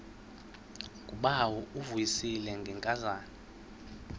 ngubawo uvuyisile ngenkazana